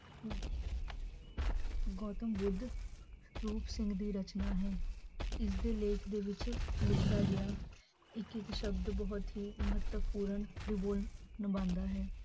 ਗੋਤਮ ਬੁੱਧ ਰੂਪ ਸਿੰਘ ਦੀ ਰਚਨਾ ਹੈ, ਇਸਦੇ ਲੇਖ ਦੇ ਵਿੱਚ ਲਿਖਿਆ ਗਿਆ ਇੱਕ ਇੱਕ ਸ਼ਬਦ ਬਹੁਤ ਹੀ ਮਹੱਤਵਪੂਰਨ ਨਿਬੰਧ ਹੈ।